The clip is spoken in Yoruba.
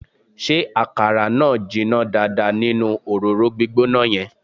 Ṣé àkàrà náà jiná dáadáa nínú òróró gbígbóná yẹn?